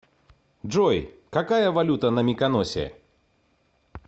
джой какая валюта на миконосе